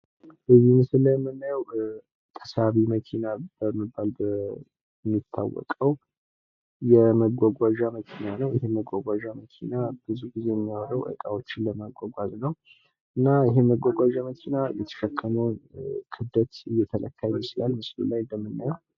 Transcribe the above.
የነዳጅ ዋጋ የመጓጓዣ ወጪ ላይ ተጽዕኖ ያሳድራል። አማራጭ የኃይል ምንጮች ዘላቂነት ላለው መጓጓዣ አስፈላጊ ናቸው።